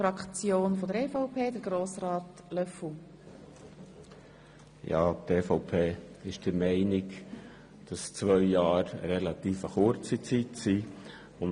Die EVP ist der Meinung, dass zwei Jahre eine relativ kurze Zeit sind.